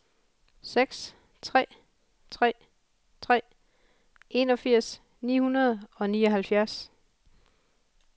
seks tre tre tre enogfirs ni hundrede og nioghalvfjerds